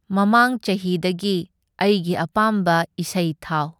ꯃꯃꯥꯡ ꯆꯍꯤꯗꯒꯤ ꯑꯩꯒꯤ ꯑꯄꯥꯝꯕ ꯏꯁꯩ ꯊꯥꯎ꯫